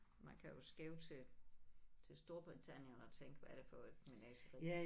Man kan jo skæve til til Storbritannien og tænke hvad er det for et menageri